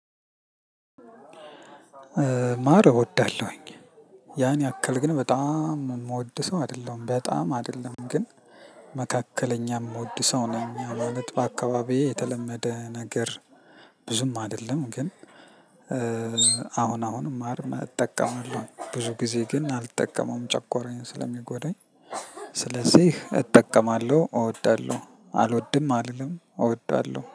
ማር እወዳለሁኝ ያን ያክል ግን በጣም የምወድ ሰው አይደሁለም በጣም አደለም ግን መካከለኛ እምወድ ሰው ነኝ አሁን ነጥብ አካባቢዬ የተለመደ ነገር ብዙም አደለም ግን አሁን አሁንም ማር እጠቀማለሁ ብዙ ጊዜ ግን አልጠቀመውም ጨጓራየን ስለሚጎዳኝ ስለዚህ እጠቀማለሁ እወዳለሁ አልወድም አልልም እወዳለሁ።